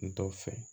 N t'o fɛ